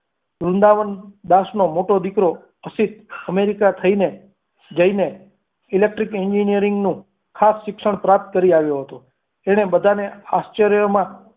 વૃંદાવન દાસ નો મોટો દીકરો અશિત america થઈને જઈને electric engineering નું ખાસ શિક્ષણ પ્રાપ્ત કરી આવ્યો હતો તેણે બધાને આશ્ચર્યમાં